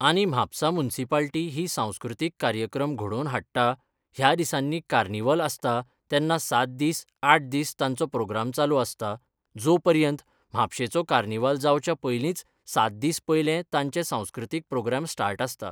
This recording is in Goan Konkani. आनी म्हापसां मुन्सिपालिटी ही सांस्कृतिक कार्यक्रम घडोवन हाडटा ह्या दिसांनी कार्निवल आसतां तेन्ना सात दीस आठ दीस तांचो प्रोग्राम चालू आसता जो पर्यंत म्हापशेचो कार्निवल जावच्या पयलींच सात दीस पयलें तांचे सांकृतिक प्रोग्राम स्टार्ट आसता.